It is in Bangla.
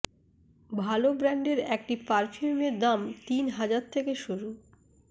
ভালো ব্র্যান্ডের একটি পারফিউমের দাম তিন হাজার থেকে শুরু